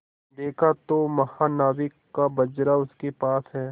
देखा तो महानाविक का बजरा उसके पास है